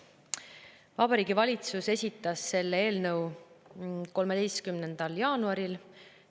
Vabariigi Valitsus esitas selle eelnõu 13. jaanuaril.